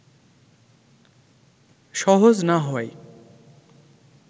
সহজ না হওয়ায়